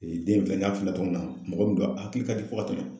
den in filɛ n ɲa f'i ye cogo min na mɔgɔ min don a hakili ka di fo ka tɛmɛ.